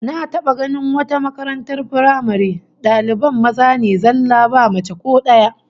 Na taba ganin wata makaratar firamare daliban maza ne zallah ba mace ko daya